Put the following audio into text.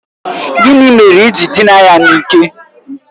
Gịnị mere i ji dịna ya n'ike?